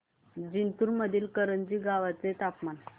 जिंतूर मधील करंजी गावाचे तापमान